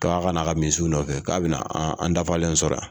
k'a ka na a ka misiw nɔfɛ k'a bɛ na an dafalen sɔrɔ yan